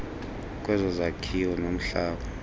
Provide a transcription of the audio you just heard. kwezo zakhiwo nomhlaba